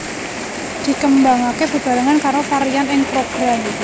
Dikembangake bebarengan karo varian ing Program